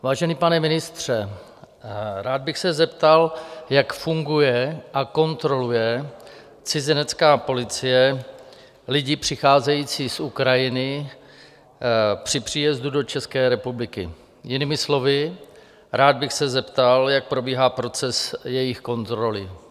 Vážený pane ministře, rád bych se zeptal, jak funguje a kontroluje cizinecká policie lidi přicházející z Ukrajiny při příjezdu do České republiky, jinými slovy, rád bych se zeptal, jak probíhá proces jejich kontroly.